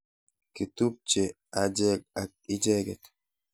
Kitupche acheget ak icheget